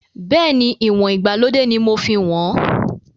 Bẹ́ẹ̀ni, ìwọ̀n ìgbàlódé ni mo fi ń wọn.